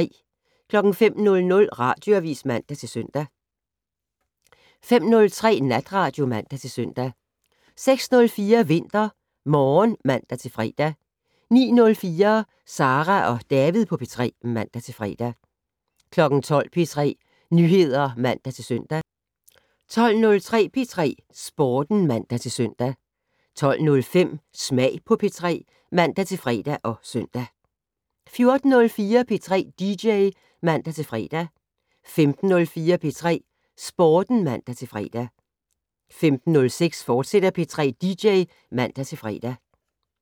05:00: Radioavis (man-søn) 05:03: Natradio (man-søn) 06:04: VinterMorgen (man-fre) 09:04: Sara og David på P3 (man-fre) 12:00: P3 Nyheder (man-søn) 12:03: P3 Sporten (man-søn) 12:05: Smag på P3 (man-fre og søn) 14:04: P3 dj (man-fre) 15:04: P3 Sporten (man-fre) 15:06: P3 dj, fortsat (man-fre)